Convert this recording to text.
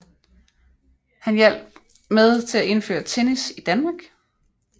Han hjalp med at til at indføre tennis i Danmark